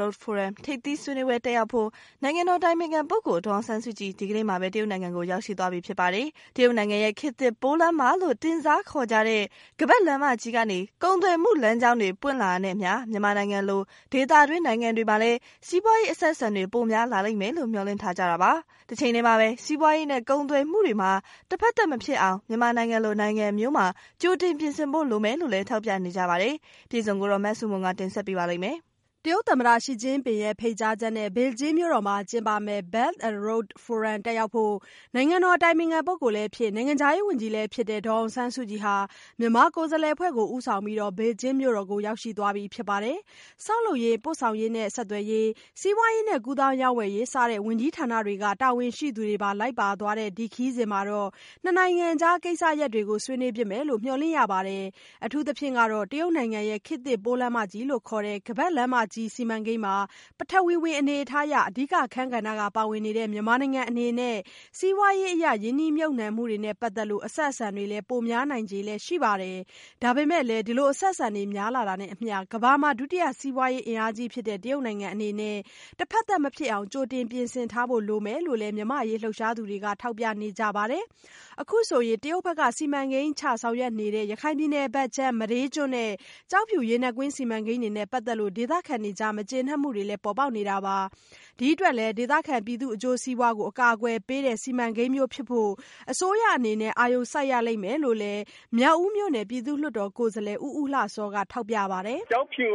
Road Forum ထိပ်သီးဆွေးနွေးပွဲ တက်ရောက်ဖို့ နိုင်ငံတော်အတိုင်ပင်ခံပုဂ္ဂိုလ် ဒေါ်အောင်ဆန်းစုကြည် ဒီကနေ့မှာပဲ တရုတ်နိုင်ငံကိုရောက်ရှိသွားပြီဖြစ်ပါတယ်။ တရုတ်နိုင်ငံရဲ့ ခေတ်သစ်ပိုးလမ်းမလို့ တင်စားခေါ်ကြတဲ့ ခါးပတ်လမ်းမကြီး ကနေ ကုန်သွယ်မှု လမ်းကြောင်းတွေ ပွင့်လာတာနဲ့အမျှ မြန်မာနိုင်ငံလို ဒေသတွင်း နိုင်ငံတွေမှာလည်း စီးပွားရေး အဆက်အဆံတွေ ပိုများလာလိမ့်မယ်လို့ မျှော်လင့်ထားကြတာပါ။ တချိန်တည်းမှာပဲ စီးပွားရေးနဲ့ ကုန်သွယ်မှုတွေမှာ တဖက်သတ် မဖြစ်အောင် မြန်မာနိုင်ငံလို နိုင်ငံမျိုးမှာ ကြိုတင်ပြင်ဆင်ဖို့ လိုမယ်လို့လည်း ထောက်ပြနေကြပါတယ်။ အပြည့်အစုံကိုတော့ မဆုမွန်က တင်ပြထားပါတယ်။ တရုတ်သမ္မတရှီကျင့်ပင်ရဲ့ဖိတ်ကြားချက်နဲ့ ပေကျင်းမြို့တော်မှာ ကျင်းပမယ့် Belt and Road Forum တက်ရောက်ဖို့၊ နိုင်ငံတော် အတိုင်ပင်ခံပုဂ္ဂိုလ်လည်းဖြစ်၊ နိုင်ငံခြားရေးဝန်ကြီးလည်းဖြစ်တဲ့ ဒေါ်အောင်ဆန်းစုကြည်ဟာ မြန်မာကိုယ်စားလှယ်အဖွဲ့ကို ဦးဆောင်ပြီးတော့ ပေကျင်းမြို့တော်ကို ရောက်ရှိသွားပြီဖြစ်ပါတယ်၊ ဆောက်လုပ်ရေး၊ ပို့ဆောင်ရေး၊ ဆက်သွယ်ရေး၊ စီးပွားရေးနဲ့ ကူးသန်းရောင်းဝယ်ရေး စတဲ့ ဝန်ကြီးဌာနတွေက တာဝန်ရှိသူတွေပါ လိုက်ပါသွားတဲ့ ခရီးစဉ်မှာတော့ ၂ နိုင်ငံကြား ကိစ္စရပ်တွေကိုလည်း ဆွေးနွေးဖြစ်မယ်လို့ မျှော်လင့်ရပါတယ်။ အထူးသဖြင့်ကတော့ တရုတ်နိုင်ငံရဲ့ ခေတ်သစ်ပိုးလမ်းမ လို့ခေါ်ကြတဲ့ ခါးပတ်လမ်းမကြီး စီမံကိန်းမှာ ပထဝီဝင် အနေအထားအရ အဓိက အခန်းကဏ္ဍက ပါဝင်နေတဲ့ မြန်မာနိုင်ငံအနေနဲ့ စီးပွားရေးအရ ရင်းနှီးမြှုပ်နှံမှုတွေနဲ့ ပတ်သက်လို့ အဆက်အဆံတွေလည်း ပိုများနိုင်ခြေလည်း ရှိပါတယ်။ ဒါပေမဲ့လည်း အဆက်အဆံတွေ များလာတာနဲ့အမျှ ကမ္ဘာမှာ ဒုတိယစီးပွားရေး အင်အားကြီးဖြစ်တဲ့ တရုတ်နိုင်ငံအနေနဲ့ တဖက်သတ် မဖြစ်အောင် ကြိုတင်ပြင်ဆင်ထားဖို့ လိုမယ်လို့လည်း မြန်မာ့အရေး လှုပ်ရှားသူတွေက ထောက်ပြနေကြပါတယ်။ အခုဆိုရင် တရုတ်ဘက်က စီမံကိန်းချ ဆောင်ရွက်နေတဲ့ ရခိုင်ပြည်နယ်ဘက်ခြမ်း မဒေးကျွန်းနဲ့ ကျောက်ဖြူရေနက်ကွင်း စီမံကိန်းတွေနဲ့ ပတ်သက်လို့ ဒေသခံတွေကြား မကျေနပ်မှုတွေလည်း ပေါ်ပေါက်နေတာပါ။ ဒီအတွက်လည်း ဒေသခံပြည်သူအကျိုးစီးပွားကို အကာအကွယ်ပေးတဲ့ စီမံကိန်းမျိုးဖြစ်ဖို့ အစိုးရအနေနဲ့ အာရုံစိုက်ရလိမ့်မယ်လို့လည်း မြောက်ဦးမြို့နယ်ပြည်သူ့လွှတ်တော်ကိုယ်စားလှယ် ဦးဦးလှစောကထောက်ပြပါတယ်။ " ကျောက်ဖြူ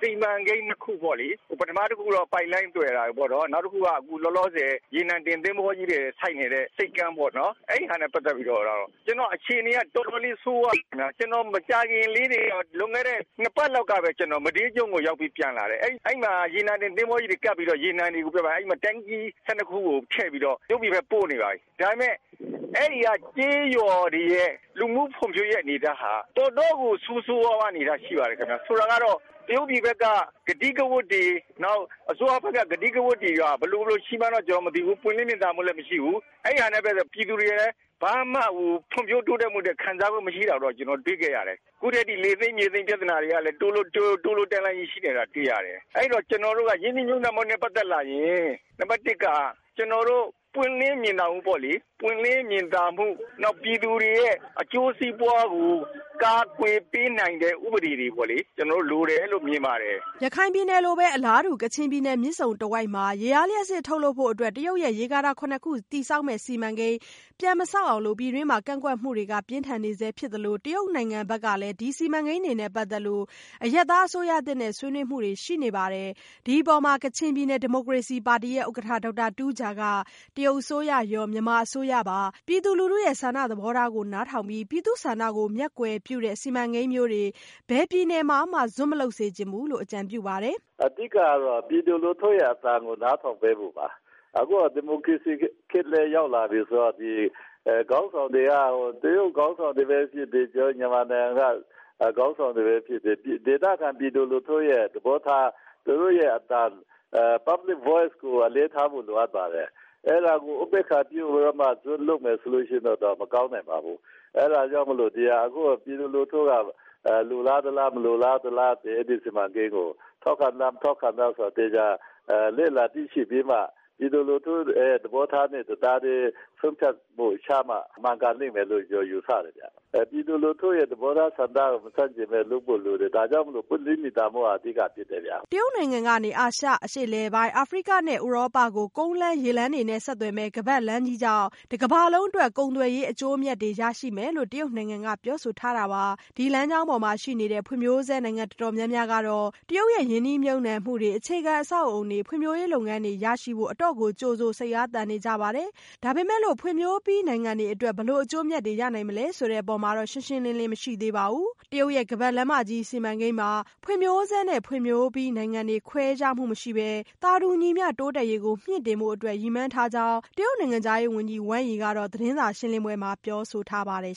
စီမံကိန်းနှစ်ခုပေါ့လေ။ ပထမတခုကတော့ ပိုက်လိုင်းသွယ်တာ နောက်တခုက လောလောဆယ် ရေနံတင်သင်္ဘောကြီးတွေ ဆိုက်နေတဲ့ ဆိပ်ကမ်းပေါေ့နာ်။အဲ့တာတွေနဲ့ပတ်သက်လို့တော့ အခြေအနေက တော်တော်လေး ဆိုးဝါးနေတယ်ခင်ဗျ။ ကျနော် မကြာခင်လေးတင်ကပဲ လွန်ခဲ့တဲ့ နှစ်ပတ်လောက်ကပဲ မဒေးကျွန်းကို ရောက်ပြီး ပြန်လာတယ် အဲ့ဒီ့မှာ ရေနံတင်သင်္ဘောကြီးတွေ ကပ်ပြီးတော့ ရေနံ Tank ကြီးတွေ ထုတ်ပြီးတော့ တရုတ်ပြည်ဘက်ကို ပို့နေပါပြီ။ ဒါပေမဲ့ အဲ့ဒီ့က ကျေးရွာတွေရဲ့ လူမှုဖွံ့ဖြိုးရေးအနေအထားဟာ တော်တော့်ကို ဆိုးဆိုးဝါးဝါး အနေအထားရှိပါတယ်။ ဆိုလိုတာကတော့ တရုတ်ပြည်ဘက်က ကတိကဝတ်တွေ နောက် အစိုးရဘက်က ကတိကဝတ်တွေက ဘယ်လိုဘယ်လိုရှိမှန်းတော့ ကျနော် မသိဘူး၊ ပွင့်လင်းမြင်သာမှုလည်း မရှိဘူး။ အဲ့တာနဲ့ပတ်သက်လို့က ပြည်သူတွေကလည်း ဖွံ့ဖြိုးတိုးတက်မှုအတွက် ဘာမှကို ခံစားခွင့်မရှိတာကိုလည်း ကျနော်တွေ့ခဲ့ရတယ်။ အခုထက်ထိ မြေသိမ်းလယ်သိမ်းယာသိမ်းပြသနာတွေကလည်းတို့လို့တန်းလန်းဖြစ်နေတာ တွေ့ရတယ်။ အဲ့ဒီ့တော့ ကျနော်တို့က ရင်းနှီးမြှုပ်နှံမှုနဲ့ပတ်သက်လာရင် နံပတ်တစ်က ပွင့်လင်းမြင်သာမှုပေါ့လေ။ ပွင့်လင်းမြင်သာမှု နောက် ပြည်သူတွေရဲ့ အကျိုးစီးပွားကို ကာကွယ်ပေးနိုင်တဲ့ဥပဒေတွေ လိုတယ်လို့မြင်ပါတယ်။" ရခိုင်ပြည်နယ်လိုပဲ အလားတူ ကချင်ပြည်နယ် မြစ်ဆုံတဝိုက်မှာ ရေအားလျှပ်စစ် ထုတ်လုပ်ဖို့ တရုတ်ရဲ့ ရေကာတာ ခု တည်ဆောက်မည့် စီမံကိန်းကို ပြန်မဆောက်အောင် ပြည်တွင်းမှာ ကန့်ကွက်မှုတွေက ပြင်းထန်နေဆဲဖြစ်သလို တရုတ်နိုင်ငံဘက်ကလည်း စီမံကိန်းတွေနဲ့ပတ်သက်လို့ အရပ်အစိုးရသစ်နဲ့ဆွေးနွေးမှုတွေရှိနေပါတယ်။ ဒီအပေါ် ကချင်ပြည်နယ် ဒီမိုကရေစီပါတီရဲ့ဥက္ကဋ္ဌ ဒေါက်တာတူးဂျာက -တရုတ်အစိုးရရော မြန်မာအစိုးရပါ ပြည်သူလူထုရဲ့ဆန္ဒ သဘောထားကို နားထောင်ပြီး ပြည်သူ့ဆန္ဒကို မျက်ကွယ်ပြုတဲ့စီမံကိန်းမျိုးတွေ ဘယ်ပြည်နယ်မှာမှ ဇွတ်မလုပ်စေချင်ဘူးလို့ အကြံပြုပါတယ်။ " အဓိက ကတော့ ပြည်သူလူထုရဲ့အသံကို နားထောင်ပေးဖို့ပါ။ အခုက ဒီမိုကရေစီခေတ်လည်း ရောက်လာပြီဆိုတော့ ခေါင်းဆောင်တွေက တရုတ်ခေါင်းဆောင်တွေပဲဖြစ်ဖြစ် မြန်မာနိုင်ငံကခေါင်းဆောင်တွေပဲဖြစ်ဖြစ် ဒေသခံပြည်သူတွေရဲ့သဘောထား သူတို့ရဲ့အသံ Public Voices ကို အလေးထားဖို့ လိုပါတယ်။ အဲ့တာကို ဥပေက္ခာပြုပြီးတော့ ဇွတ်လုပ်မယ်ဆိုရင်တော့ မကောင်းနိုင်ပါဘူး။ အဲ့တာကြောင့် ပြည်သူလူထုက အဲ့ဒီ့စီမံကိန်းကို လိုလားသလား၊ မလိုလားသလား၊ ထောက်ခံသလား၊ မထောက်ခံဘူးလားဆိုတာကို သေခာျလေ့လာသိရှိပြီးမှ ပြည်သူလူထုရဲ့သဘောထားနဲ့တသားတည်း ဆုံးဖြတ်မှုကိုချမှ မှန်ကန်လိမ့်မယ်လို့ ယူဆတယ်ခင်ဗျ။ ပြည်သူလူထုရဲ့သဘောထားကို မဆန့်ကျင်ပဲ လုပ်ဖို့လိုတယ်။ ဒါကြောင့်ပွင့်လင်းမြင်သာမှုက အဓိကဖြစ်တယ်ဗျ။" တရုတ်နိုင်ငံကနေ အာရှ၊ အရှေ့အလယ်ပိုင်း၊ အာဖရိကနဲ့ ဥရောပကို ကုန်းလမ်း၊ ရေလမ်းတို့နဲ့ ဆက်သွယ်မယ့် ခါးပါတ်လမ်းကြီးကြောင့် တကမ္ဘာလုံးအတွက် ကုန်သွယ်ရေးအကျိုးအမြတ်တွေ ရရှိမယ်လို့ တရုတ်နိုင်ငံကပြောဆိုထားတာပါ။ ဒီလမ်းကြောင်းပေါ်မှာရှိနေတဲ့ ဖွံ့ဖြိုးဆဲနိုင်ငံတော်တော်များများကတော့ တရုတ်ရဲ့ ရင်းနှီးမြှုပ်နှံမှုတွေ၊ အခြေခံအဆောက်အအုံတွေ၊ ဖွံ့ဖြိုးရေး လုပ်ငန်းတွေကို ရရှိဖို့ အတော်ကိုကြိုဆို၊ စိတ်အားသန်နေကြပါတယ်။ ဒါပေမဲ့လို့ ဖွံ့ဖြိုးပြီးနိုင်ငံတွေအတွက် ဘယ်လိုအကျိုးအမြတ်တွေရနိုင်မလဲဆိုတဲ့ အပေါ်မှာတော့ ရှင်းရှင်းလင်းလင်းမရှိသေးပါဘူး။ တရုတ်ရဲ့ ခါးပတ်လမ်းမကြီး စီမံကိန်းမှာ ဖွံဖြိုးဆဲနဲ့ ဖွံ့ဖြိုးပြီး နိုင်ငံတွေခွဲခြားခြင်းမရှိပဲ သာတူညီမျှ တိုးတက်ရေးကို မြှင့်တင်ဖို့အတွက် ရည်မှန်းထားကြောင်း တရုတ်နိုင်ငံခြားရေးဝန်ကြီး Wang Yi က သတင်းစာရှင်းလင်းပွဲမှာ ပြောဆိုထားပါတယ်